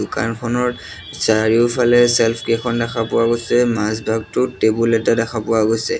দোকানখনৰ চাৰিওফালে চেল্ফ কেইখন দেখা পোৱা গৈছে মাজ ভাগটোত টেবুল এটা দেখা পোৱা গৈছে।